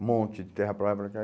Um monte de terra para lá e para cá.